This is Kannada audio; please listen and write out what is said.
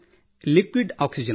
liquid oxygen